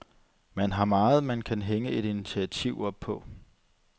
Man har meget, man kan hænge et initiativ op på.